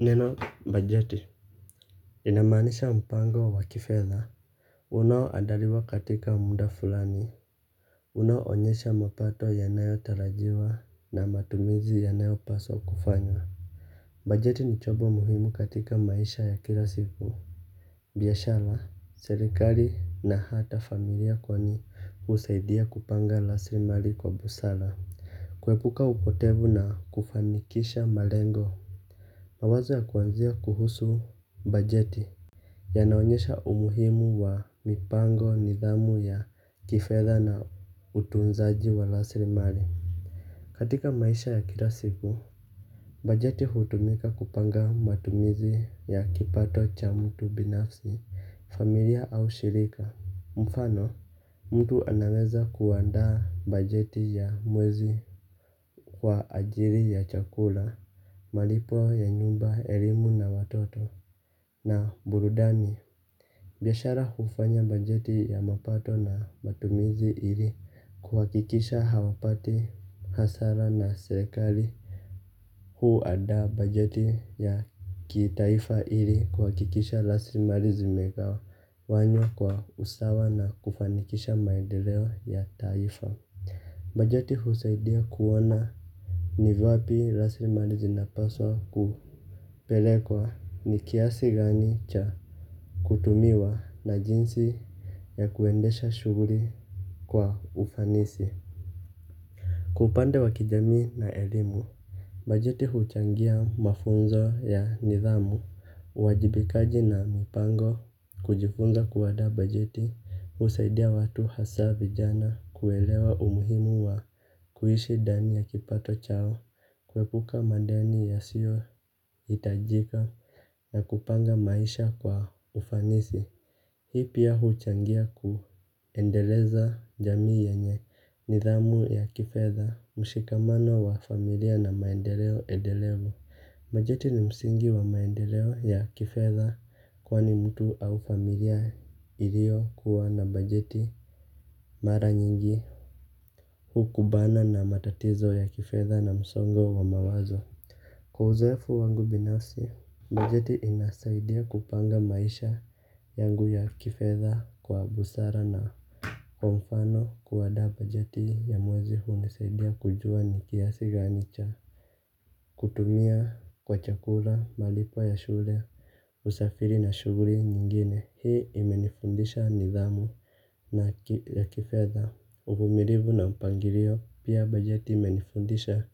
Neno bajeti. Inamaanisha mpango wa kifedha unaoandaliwa katika muda fulani unaoonyesha mapato yanayotarajiwa na matumizi yanayopaswa kufanywa. Bajeti ni chombo muhimu katika maisha ya kila siku. Biashara serikali na hata familia kwani husaidia kupanga rasilimali kwa busara kuepuka upotevu na kufanikisha malengo. Mawazo ya kuanzia kuhusu bajeti yanaonyesha umuhimu wa mipango nidhamu ya kifedha na utunzaji wa rasilimali. Katika maisha ya kila siku bajeti hutumika kupanga matumizi ya kipato cha mtu binafsi familia au shirika mfano mtu anaweza kuandaa bajeti ya wezi kwa ajili ya chakula. Malipo ya nyumba, elimu na watoto na burudani biashara hufanya bajeji ya mapato na matumizi na kuhakikisha hawapti hasara na serikali. Huandaa bajeti ya kitaifa ili kuhakikisha rasilimali zimegawawanywa kwa usawa na kufanikisha maendeleo ya taifa. Bajeti husaidia kuona ni wapi rasilimali zinapaswa kupelekwa ni kiasi gani cha kutumiwa na jinsi ya kuendesha shughuli kwa ufanisi. Kwa upande wa kijamii na elimu bajeti huchangia mafunzo ya nidhamu, uwajibikaji na mipango. Kujifunza kuandaa bajeti husaidia watu hasa vijana kuelewa umuhimu wa kuishi ndani ya kipato chao. Kuepuka madeni yasiohitajika na kupanga maisha kwa ufanisi. Hii pia huchangia kuendeleza jamii yenye nidhamu ya kifedha. Mshikamano wa familia na maendeleo endelevu. Bajeti ni msingi wa maendeleo ya kifedha kwani mtu au familia iliokuwa na bajeti mara nyingi hukumbana na matatizo ya kifedha na msongo wa mawazo. Kwa uzoefu wangu binafsi bajeti inasaidia kupanga maisha yangu ya kifedha kwa busara na kwa mfano kuandaa bajeti ya mwezi hunisaidia kujua ni kiasi gani cha kutumia kwa chakula malipo ya shule usafiri na shughuli nyingine hii imenifundisha nidhamu la kifedha. Uvumilivu na mpangilio pia bajeti imenifundisha